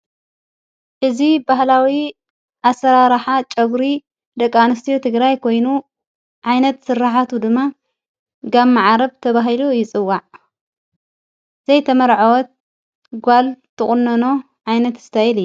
እዝ በህላዊ ኣሠራራኃ ጨጕሪ ደቂ አንስቲዮ ትግራይ ኮይኑ ዓይነት ሥራሐቱ ድማ ጋብ መዓረብ ተብሂሉ ይጽዋዕ ዘይተመርዐወት ጓል ተቖነኖ ዓይነት እስታይል እዩ ::